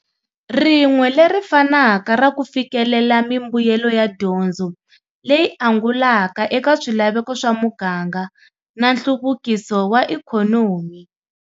Rin'we leri fanaka ra ku fikelela mi mbuyelo ya dyondzo leyi angulaka eka swilaveko swa muganga na nhluvukiso wa ekhonomi.